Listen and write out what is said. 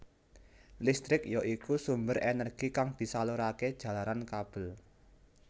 Listrik ya iku sumber energi kang disalurake jalaran kabel